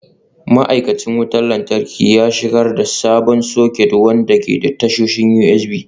Ma'aikacin wutar lantarki ya shigar da sabon soket wanda ke da tashoshin USB.